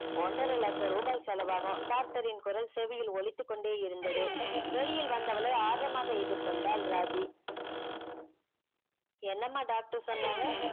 ஒன்றரை லட்சம் ரூபாய் செலவு ஆகும் doctor ன் குரல் செவியில் ஒழித்து கொண்டே இருந்தது வெளியில் வந்தவளே எதிர்கொண்டாள் ராஜி என்னம்மா சொன்னாங்க